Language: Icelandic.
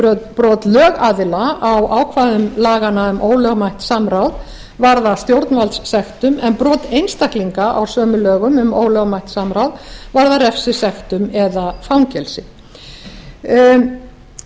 brot lögaðila á ákvæðum laganna um ólögmætt samráð varða stjórnvaldssektum en brot einstaklinga á sömu lögum um ólögmætt samráð varða refsisektum eða fangelsi sá munur